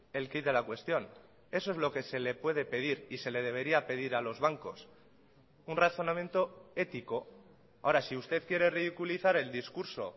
el quid de la cuestión eso es lo que se le puede pedir y se le debería pedir a los bancos un razonamiento ético ahora si usted quiere ridiculizar el discurso